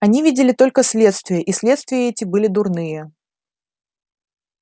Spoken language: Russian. они видели только следствия и следствия эти были дурные